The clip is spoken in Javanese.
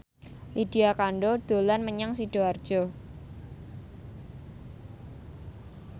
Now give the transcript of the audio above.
Lydia Kandou dolan menyang Sidoarjo